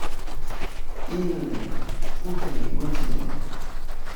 ilni, thothne gotieno